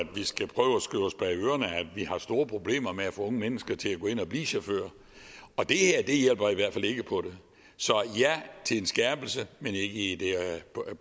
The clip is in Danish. vi har store problemer med at få unge mennesker til at blive chauffører og det her hjælper i hvert fald ikke på det så ja til en skærpelse men ikke